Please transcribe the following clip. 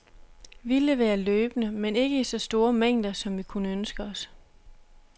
Vi leverer løbende, men ikke i så store mængder, som vi kunne ønske os.